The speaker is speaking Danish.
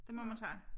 Det må man sige